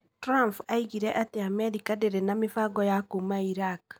Trump oigire atĩ Amerika ndĩrĩ na mĩbango ya kuuma Iraq.